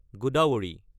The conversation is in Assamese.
গদাভাৰী